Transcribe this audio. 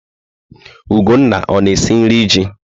Ugonna ọ na-esi nri ji?